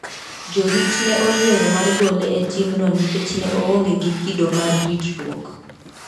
Jorit ne oyiero mar gole e timno nikech ne oonge gi kido mar ritruok.